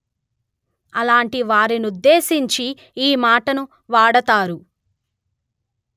అలాంటి వారినుద్దేశించి ఈ మాటను వాడతారు